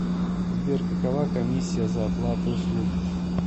сбер какова комиссия за оплаты услуг